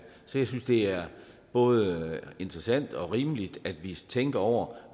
så jeg synes det er både interessant og rimeligt at vi tænker over